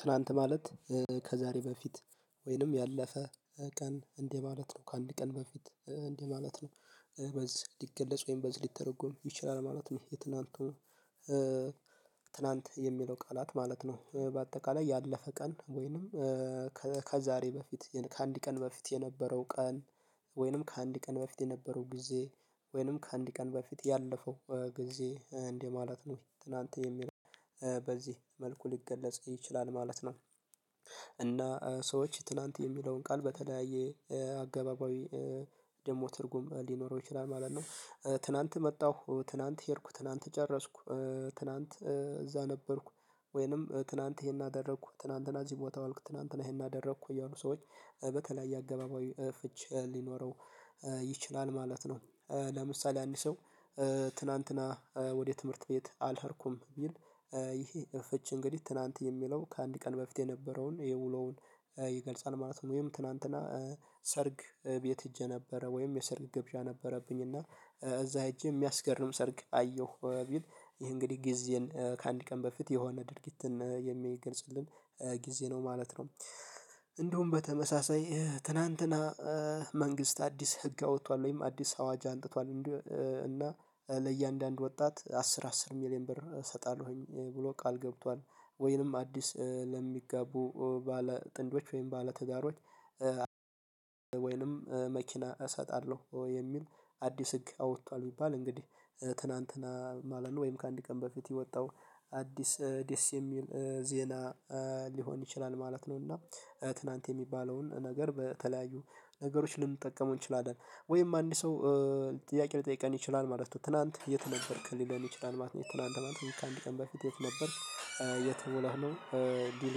ትላንት ማለት ከዛሬ በፊት ወይንም ያለፈ ቀን እንዲ ማለት ነው ከአንድ ቀን በፊት እንዲህ ማለት ነው። በዚህ ሊገለጽ ወይም በዚህ ሊተረጎም ይችላል ማለት ነው። የትላንቱ ትላንት የሚለው ቃላት ማለት ነው። በአጠቃላይ ያለፈ ቀን ወይንም ከዛሬ በፊት ከአንድ ቀን በፊት የነበረው ቀን። ወይንም ከአንድ ቀን በፊት የነበረው ጊዜ ወይንም ከአንድ ቀን በፊት ያለፈው ጊዜ እንደ ማለት ነው። ትላንት የሚለው በዚህ መልኩ ሊገለጽ ይችላል ማለት ነው። እና ሰዎች ትላንት የሚለውን ቃል በተለያየ አገባባዊ ደግሞ ትርጉም ሊኖረው ይችላል ማለት ነው። ትላንት መጣሁ ትላንት ሄድኩ ትላንት ጨረስኩ። ትላንት እዛ ነበርኩ። ወይንም ትላንት ይሄን አደረኩ ትላንትና እዚህ ቦታ ዋልኩ ትላንትና ይሄን አደረኩ እያሉ ሰዎች በተለይ የአገባባዊ ፍች ሊኖረው ይችላል ማለት ነው። ለምሳሌ አንድ ሰው ትናንትና ወደ ትምህርት ቤት አልሄድኩም ቢል ይሄ ፍች እንግዲህ ትናንት የሚለው ከአንድ ቀን በፊት የነበረውን የውሎውን ይገልጻል ማለት ነው። ወይም ትናንትና ሰርግ ቤት ሄጄ ነበረ ወይም የሰርግ ገብዣ ነበረብኝ እና እዛ እጄ የሚያስገርም ሰርግ አየሁ ቢል ይህ እንግዲህ ጊዜን ከአንድ ቀን በፊት የሆነ ድርጊትን የሚገልጽልን ጊዜ ነው ማለት ነው። እንደውም በተመሳሳይ ትናንትና መንግስት አዲስ ህግ አውጥቷል ወይም አዲስ አዋጅ አንጥቷል እንደ እና ለእያንዳንዱ ወጣት አስር አስር ሚሊየን ብር እሰጣለሁኝ ብሎ ቃል ገብቷል። ወይንም አዲስ ለሚጋቡ ባለ ጥንዶች ወይም ባለ ትዳሮች ወይንም መኪና እሰጣለሁ ወይ የሚል አዲስ ህግ አውጥቷል ቢባባል እንግዲህ ትናንትና ማለት ነው ወይም ከአንድ ቀን በፊት የወጣው አዲስ ደስ የሚል ዜና ሊሆን ይችላል ማለት ነው። እና ትላንት የሚባለውን ነገር በተለያዩ ነገሮች ልንጠቀመው እንችላለን ወይም አንድ ሰው ጥያቄ ልጠይቀን ይችላል ማለት ነው። ትላንት የተ ነበርክን ሊለን ይችላል ማለት ነው። ትላንት ማለት ነው ከአንድ ቀን በፊት የት ነበርክ? የት ዉለህ ነው? ሊል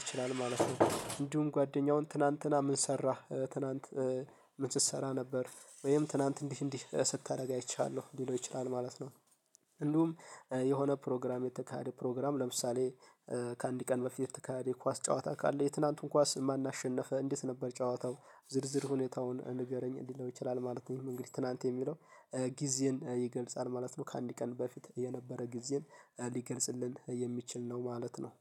ይችላል ማለት ነው። እንዲሁ ጓደኛውን ትናንትና ምን ሰራህ ትናንት? ምን ስትሰራ ነበር? ወይም ትናንት እንዲህ እንዲህ ስታደርግ አይቻሀለው ሊለው ይችላል ማለት ነው። እንዲሁም የሆነ ፕሮግራም የተካሄደ ፕሮግራም ለምሳሌ ከአንድ ቀን በፊት የተካሄደ የኳስ ጨዋታ ካለ የትናንቱን ኳስ ማን አሸነፈ? እንዴት ነበር ጨዋታው ዝርዝር ሁኔታውን ንገረኝ? ሊለው ይችላል ማለት ነው። እንግዲህ ትናንት የሚለው ጊዜን ይገልጻል ማለት ነው። ከአንድ ቀን በፊት የነበረ ጊዜን ሊገልጽልን የሚችል ነው ማለት ነው።